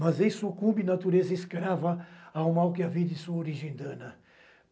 Mas ei, sucumbi, natureza escrava, ao mal que havia de sua origem dana.